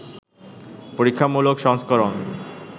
পরীক্ষামূলক সংস্করণ